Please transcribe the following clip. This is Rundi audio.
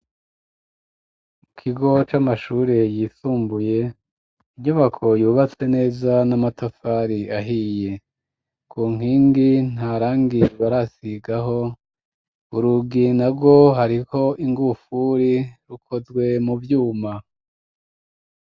Ikigo c'amashure yisumbuye , inyubako yubatse neza n'amatafari ahiye . Ku nkingi ntarangibarasigaho , urugi narwo hariko ingufuri rukozwe mu vyuma.